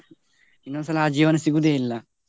ಇನ್ನೊಂದು ಸಲ ಆ ಜೀವನ ಸಿಗುದೇ ಇಲ್ಲ.